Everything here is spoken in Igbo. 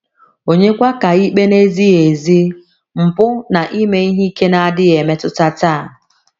Ònyekwa ka ikpe na - ezighị ezi, mpụ, na ime ihe ike na - adịghị emetụta taa?